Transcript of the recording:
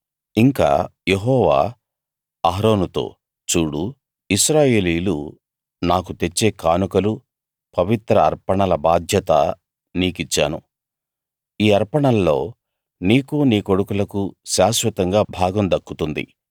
ఇంకా యెహోవా అహరోనుతో చూడు ఇశ్రాయేలీయులు నాకు తెచ్చే కానుకలు పవిత్ర అర్పణల బాధ్యత నీకిచ్చాను ఈ అర్పణల్లో నీకూ నీ కొడుకులకూ శాశ్వతంగా భాగం దక్కుతుంది